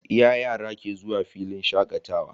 Iya yara ke zuwa filin shakatawa